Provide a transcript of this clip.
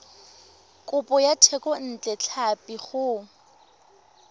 kopo ya thekontle tlhapi go